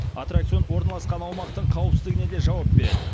аттракцион орналасқан аумақтың қауіпсіздігіне де жауап береді